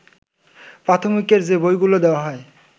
প্রাথমিকের যে বইগুলো দেয়া হয়